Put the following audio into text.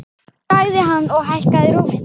sagði hann og hækkaði róminn.